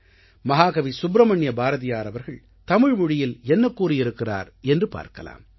மஹாகவி சுப்ரமண்ய பாரதியார் அவர்கள் தமிழ் மொழியில் என்ன கூறியிருக்கிறார் என்று பார்க்கலாம்